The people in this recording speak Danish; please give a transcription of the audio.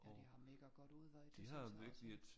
Ja de har mega godt udvalg det synes jeg også